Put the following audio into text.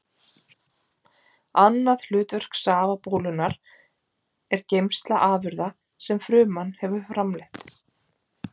Annað hlutverk safabólunnar er geymsla afurða sem fruman hefur framleitt.